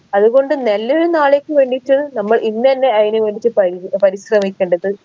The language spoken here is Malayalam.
അത് കൊണ്ട് നല്ലയൊരു നാളേക്ക് വേണ്ടീട്ട് നമ്മൾ ഇന്നെന്നെ അയിന് വേണ്ടീട്ട് പരിപരിശ്രമിക്കണ്ടത്